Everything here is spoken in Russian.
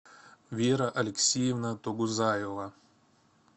вера алексеевна тогузаева